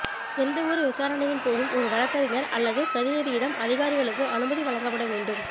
எந்தவொரு விசாரணையின் போதும் ஒரு வழக்கறிஞர் அல்லது பிரதிநிதியிடம் அதிகாரிகளுக்கு அனுமதி வழங்கப்பட வேண்டும்